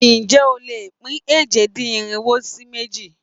Ǹjé o lè pín èje-dín-irinwo sí méjì?